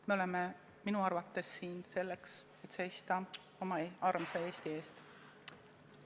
Me oleme minu arvates siin selleks, et seista oma armsa Eesti eest.